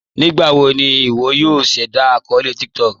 Nígbàwò ní ìwọ̀ yòò ṣẹ̀dá akọọlẹ̀ TikTok?